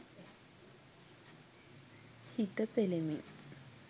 හිත පෙළෙමින්